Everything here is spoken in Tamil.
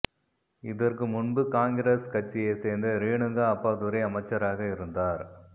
இதற்கு முன்பு காங்கிரஸ் கட்சியைச் சேர்ந்த ரேணுகா அப்பாதுரை அமைச்சராக இருந்தார்